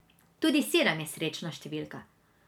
Tudi sedem je srečna številka.